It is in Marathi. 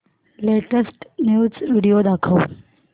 लेटेस्ट न्यूज व्हिडिओ दाखव